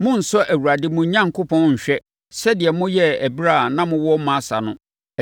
Monnsɔ Awurade, mo Onyankopɔn, nhwɛ sɛdeɛ moyɛeɛ ɛberɛ a na mowɔ Masa no.